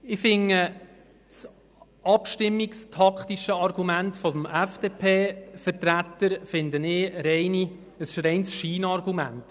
Ich finde das abstimmungstaktische Argument des FDP-Vertreters ein reines Scheinargument.